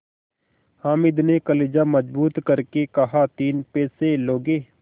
हामिद ने कलेजा मजबूत करके कहातीन पैसे लोगे